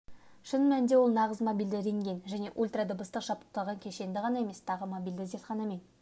шын мәнінде ол нағыз мобильді рентген және ультрадыбыстық жабдықталған кешендер ғана емес тағы мобильді зертханамен